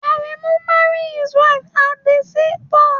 Aremu married his wife at the seaport